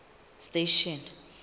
station